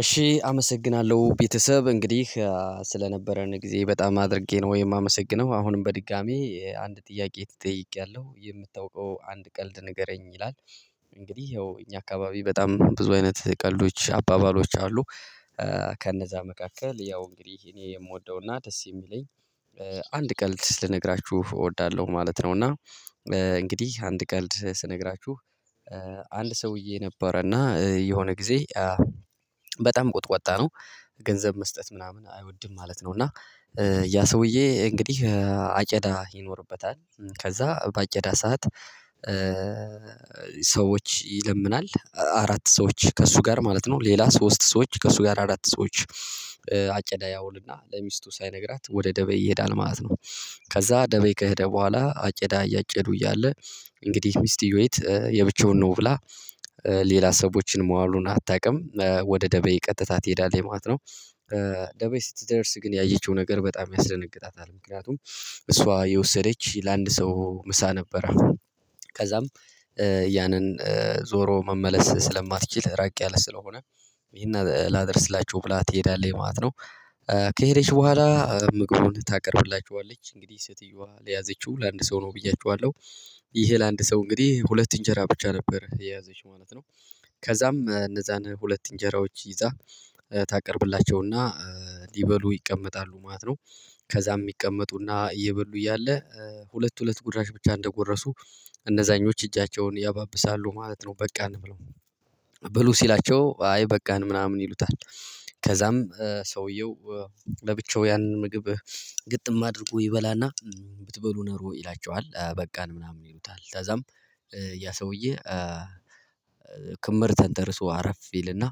እሺ አመሰግናለሁ ቤተሰብ እንግዲህ ስለነበረን ጊዜ በጣም አድርጌ ነው የማመሰግነው አሁንም በድጋሚ አንድ ጥያቄ ተጠይቂያለሁ የምታውቀው አንድ ቀልድ ንገረኝ ይላል? እንግዲህ ያው እኛ አካባቢ በጣም ብዙ አይነት ቀልዶች አባባሎች አሉ። ከነዛ መካከል ያው እንግዲ እኔ የምወደውና ደስ የሚለኝ አንድ ቀልድ ልነግራችሁ እወዳለሁ ማለት ነው። እና እንግዲህ አንድ ቀልድ ስነግራችሁ አንድ ሰውዬ ነበረና የሆነ ጊዜ በጣም ቁጥቋጣ ነው። ገንዘብ መስጠት ምናምን አይወድም ማለት ነው። እና ያ ሰውዬ እንግዲህ አጨዳ ይኖርበታል ከዛ በአጨዳ ሰዓት። ሰዎች ይለምናል አራት ሰዎች ከእሱ ጋር ማለት ነው ሌላ ሶስት ሰዎች ከእሱ ጋር አራት ሰዎች አጨዳ ያውልና ለሚስቱ ሳይነግራት ወደ ደበይ ይሄዳል ማለት ነው። ከዛ ደበይ ከሄደ በኋላ አጨዳ እያጨዱ እያለ እንግዲህ ሚስትዮይት ብቻውን ነው ብላ ሌላ ሰዎችን ማዋሉን አታውቅም ወደ ደበይ ቀጥታ ትሄዳለች የማለት ነው። ደበይ ስትደርስ ግን ያየችው ነገር በጣም ያስደነግጣታል። ምክንያቱም እሷ የወሰደች ለአንድ ሰው ምሳ ነበረ ከዛም ያንን ዞሮ መመለስ ስለማትችል ራቅ ያለ ስለሆነ ይሄን ላደርስላችሁ ብላ ትሄዳለህ ማለት ነው። ከሄደች በኋላ ምግቡን ታቀርብላችዋለች እንግዲህ ሴትየዋ ለያዘችው ለአንድ ሰው ነው ብያችኋለሁ ይሄ ለአንድ ሰው እንግዲህ ሁለት እንጀራ ብቻ ነበር የያዘች ማለት ነው። ከዛም እነዛን ሁለት እንጀራዎች ይዛ ታቀርብላቸውና ሊበሉ ይቀመጣሉ ማለት ነው። ከዛም ይቀመጡና እየበሉ እያለ ሁለት ሁለት ጉድራሽ ብቻ እንደጎረሱ እነዛኞች እጃቸውን ያባብሳሉ ማለት ነው በቃን ብለው ብሉ ሲላቸው አይ በቃን ምናምን ይሉታል። ከዛም ሰውየው ለብቻው ያንን ምግብ ግጥም አድርጎ ይበላና ብትበሉ ኑሮ ይላቸዋል በቃን ምናምን ይሉታል ታዛም ያ ሰውዬ ክምር ተንደርሶ አረፍ ይልና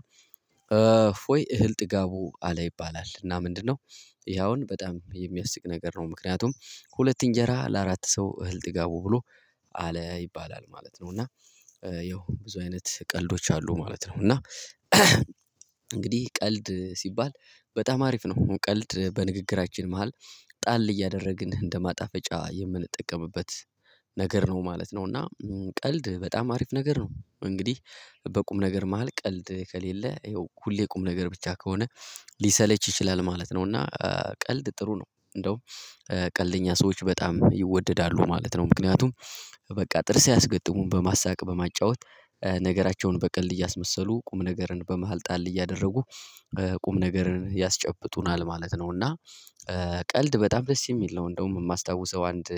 እፎይ እህል ጥጋቡ አለ ይባላል እና ምንድነው? ይሄ አውን በጣም የሚያስቅ ነገር ነው ምክንያቱም ሁለት እንጀራ ለአራት ሰው እህል ጥጋቡ ብሎ አለ ይባላል ማለት ነው። እና ያው ብዙ አይነት ቀልዶች አሉ ማለት ነው። እና እንግዲህ ቀልድ ሲባል በጣም አሪፍ ነው ቀልድ በንግግራችን መሃል ጣል እያደረግን እንደ ማጣፈጫ የምንጠቀምበት ነገር ነው ማለት ነው እና ቀልድ በጣም አሪፍ ነገር ነው እንግዲህ በቁም ነገር መሃል ቀልድ ከሌለ ይኸው ሁሌ ቁም ነገር ብቻ ከሆነ ሊሰለች ይችላል ማለት ነው። እና ቀልድ ጥሩ ነው እንደውም ቀልደኛ ሰዎች በጣም ይወደዳሉ ማለት ነው ምክንያቱም በቃ ጥርስ አያስገጥሙም በማሳቅ በማጫወት ነገራቸውን በቀልድ እያስመሰሉ ቁም ነገርን በመሃል ጣል እያደረጉ ቁም ነገርን ያስጨብጡናል ማለት ነው። እና ቀልድ በጣም ደስ የሚል ነው እንደውም የማስታውሰው አንድ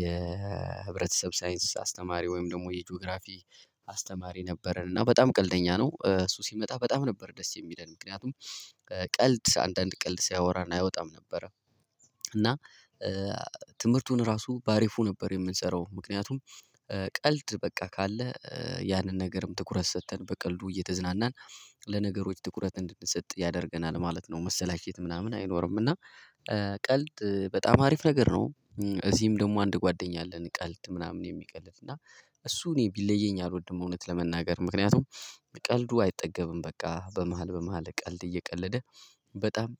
የህብረተሰብ ሳይንስ አስተማሪ ወይም ደግሞ የጂኦግራፊ አስተማሪ ነበረን እና በጣም ቀልደኛ ነው እሱ ሲመጣ በጣም ነበር ደስ የሚለን ምክንያቱም ቀልድ አንዳንድ ቀልድ ሲያወራን አይወጣም ነበረ። እና ትምህርቱን ራሱ በአሪፉ ነበር የምንሰራው ምክንያቱም ቀልድ በቃ ካለ ያንን ነገርም ትኩረት ሰጥተን በቀልዱ እየተዝናናን ለነገሮች ትኩረት እንድንሰጥ ያደርገናል ማለት ነው። መሰላቸት ምናምን አይኖርም እና ቀልድ በጣም አሪፍ ነገር ነው። እዚህም ደግሞ አንድ ጓደኛ አለን ቀልድ ምናምን የሚቀልድ እና እሱ እኔ ቢለየኝ አልወድም እውነት ለመናገር ምክንያቱም ቀልዱ አይጠገብም በቃ በመሃል በመሃል ቀልድ እየቀለደ በጣም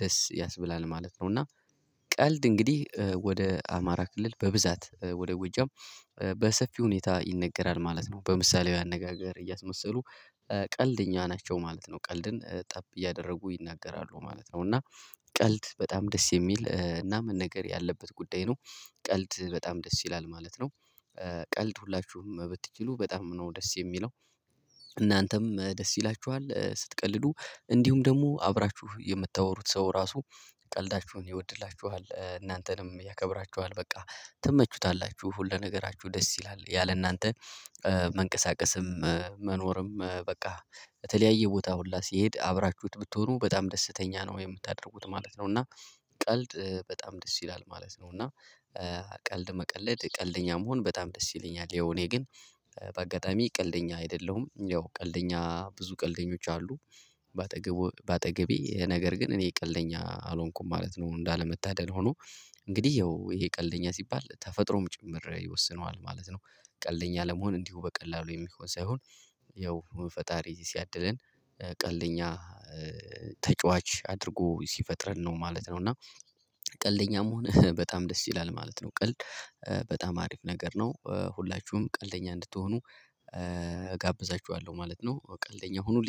ደስ ያስብላል ማለት ነው። እና ቀልድ እንግዲህ ወደ አማራ ክልል በብዛት ወደ ጎጃም በሰፊ ሁኔታ ይነገራል ማለት ነው በምሳሌያዊ አነጋገር እያስመሰሉ ቀልደኛ ናቸው ማለት ነው። ቀልድን ጠብ እያደረጉ ይናገራሉ ማለት ነው እና ቀልድ በጣም ደስ የሚል እና መነገር ያለበት ጉዳይ ነው። ቀልድ በጣም ደስ ይላል ማለት ነው። ቀልድ ሁላችሁም ብትችሉ በጣም ነው ደስ የሚለው እናንተም ደስ ይላችኋል ስትቀልዱ እንዲሁም ደግሞ አብራችሁ የምታወሩት ሰው ራሱ ቀልዳችሁን ይወድላችኋል እናንተንም ያከብራቸዋል በቃ ትመቹታላችሁ ሁሉ ነገራችሁ ደስ ይላል ያለ እናንተ መንቀሳቀስም መኖርም በቃ በተለያየ ቦታ ሁላ ሲሄድ አብራችሁት ብትሆኑ በጣም ደስተኛ ነው የምታደርጉት ማለት ነው። እና ቀልድ በጣም ደስ ይላል ማለት ነው። እና ቀልድ መቀለድ ቀልደኛ መሆን በጣም ደስ ይለኛል ያው እኔ ግን በአጋጣሚ ቀልደኛ አይደለሁም። ያው ቀልደኛ ብዙ ቀልደኞች አሉ ባጠገቡ በአጠገቤ ነገር ግን እኔ ቀልደኛ አልሆንኩም ማለት ነው። እንዳለመታደል ሆኖ እንግዲህ ያው ይሄ ቀልደኛ ሲባል ተፈጥሮም ጭምር ይወስነዋል ማለት ነው። ቀልደኛ ለመሆን እንዲሁ በቀላሉ የሚሆን ሳይሆን ያው ፈጣሪ ሲያድለን ቀልደኛ ተጫዋች አድርጎ ሲፈጥረን ነው ማለት ነው። እና ቀልደኛ መሆነ በጣም ደስ ይላል ማለት ነው። ቀልድ በጣም አሪፍ ነገር ነው ሁላችሁም ቀልደኛ እንድትሆኑ እጋብዛችኋለሁ ማለት ነው። ቀልደኛ ሁኑልኝ